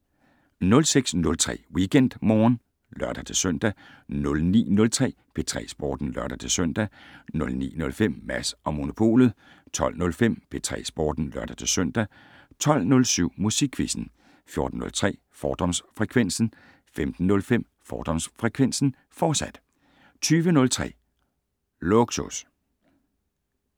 06:03: WeekendMorgen (lør-søn) 09:03: P3 Sporten (lør-søn) 09:05: Mads & Monopolet 12:05: P3 Sporten (lør-søn) 12:07: Musikquizzen 14:03: Fordomsfrekvensen 15:05: Fordomsfrekvensen, fortsat 20:03: Lågsus